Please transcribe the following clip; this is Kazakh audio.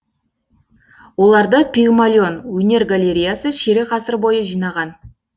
оларды пигмалион өнер галереясы ширек ғасыр бойы жинаған